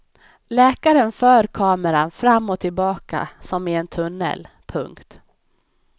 Läkaren för kameran fram och tillbaka som i en tunnel. punkt